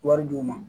Wari d'u ma